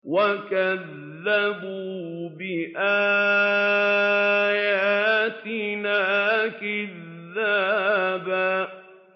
وَكَذَّبُوا بِآيَاتِنَا كِذَّابًا